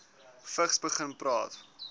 vigs begin praat